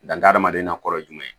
Dan hadamaden na kɔrɔ ye jumɛn ye